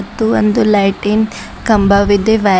ಇದು ಒಂದು ಲೈಟಿನ್ ಕಂಬವಿದೆ ವೈರ್ --